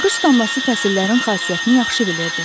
Yağış damlası fəsillərin xasiyyətini yaxşı bilirdi.